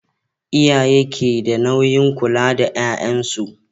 Iyaye keda nauyin kula da yayan su